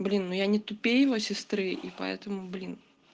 блин ну я не тупее его сестры и поэтому блин